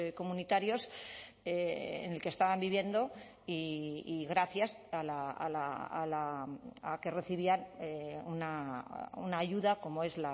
comunitarios en el que estaban viviendo y gracias a que recibían una ayuda como es